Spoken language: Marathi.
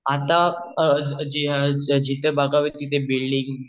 आता जिथे बघावे तिथे बिल्डिंग